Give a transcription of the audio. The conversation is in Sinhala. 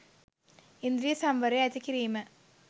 ඉන්ද්‍රිය සංවරය ඇති කිරීම